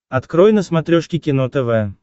открой на смотрешке кино тв